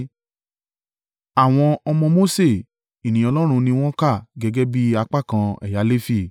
Àwọn ọmọ Mose ènìyàn Ọlọ́run ni wọ́n kà gẹ́gẹ́ bí apá kan ẹ̀yà Lefi.